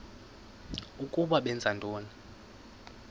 ukuba benza ntoni